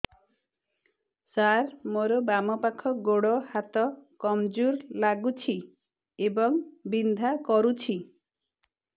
ସାର ମୋର ବାମ ପାଖ ଗୋଡ ହାତ କମଜୁର ଲାଗୁଛି ଏବଂ ବିନ୍ଧା କରୁଛି